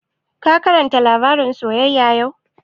Ka karanta labarin soyyaya yau?